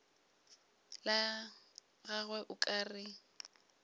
la gagwe o ka re